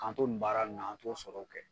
K'an to nin baara ninnu an t'o sɔrɔw kɛ